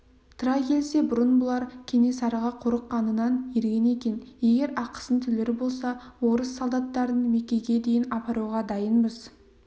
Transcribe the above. тыра келсе бұрын бұлар кенесарыға қорыққанынан ерген екен егер ақысын төлер болса орыс солдаттарын мекеге дейін апаруға дайынбыз